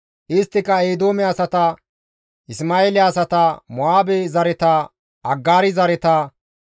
Isttika Eedoome asata, Isma7eele asata, Mo7aabe zareta, Aggaari zareta,